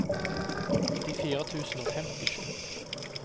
nittifire tusen og femtisju